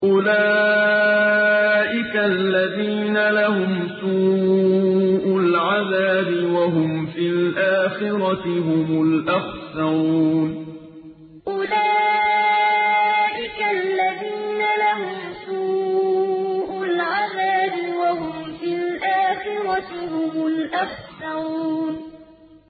أُولَٰئِكَ الَّذِينَ لَهُمْ سُوءُ الْعَذَابِ وَهُمْ فِي الْآخِرَةِ هُمُ الْأَخْسَرُونَ أُولَٰئِكَ الَّذِينَ لَهُمْ سُوءُ الْعَذَابِ وَهُمْ فِي الْآخِرَةِ هُمُ الْأَخْسَرُونَ